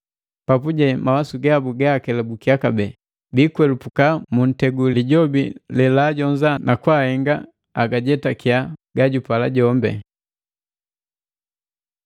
Papuje mawasu gabu gaakelubukiya kabee, biikwelapuka muntegu wii Lijobi jojajonziki na kahenga bagajetakiya gajupala jombi.